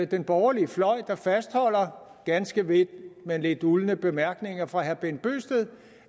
den borgerlige fløj der fastholder ganske vist med lidt uldne bemærkninger fra herre bent bøgsted